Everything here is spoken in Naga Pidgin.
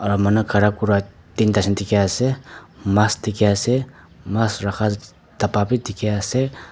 ah manu khara kura tinta jun dikhi ase maas dikhi ase maas rakha dabba b dikhi ase.